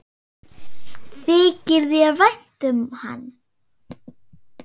Þykir þér vænt um hann?